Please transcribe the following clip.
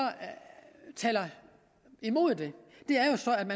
taler imod det